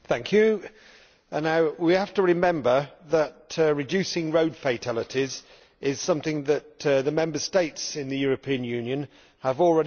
Mr President, we have to remember that reducing road fatalities is something that the Member States in the European Union have already agreed to do.